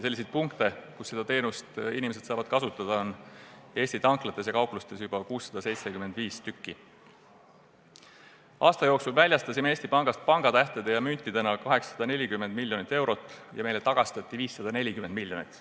Selliseid punkte, kus inimesed saavad seda teenust kasutada, on Eesti tanklates ja kauplustes juba 675. Aasta jooksul väljastasime Eesti Pangast pangatähtede ja müntidena 840 miljonit eurot ja meile tagastati 540 miljonit eurot.